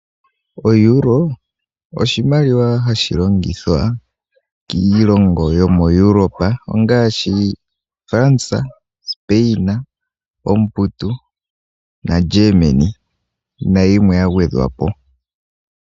O Euro osho oshimaliwa hashi longithwa kiilongo yomo Europa. Ngaashi, France, Spain, omuputu, naGermany, nayimwe ya gwedhwapo.